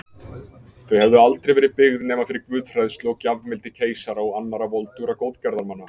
Þau hefðu aldrei verið byggð nema fyrir guðhræðslu og gjafmildi keisara og annarra voldugra góðgerðamanna.